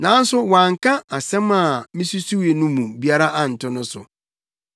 Nanso wɔanka nsɛm a misusuwii no mu biara anto no so.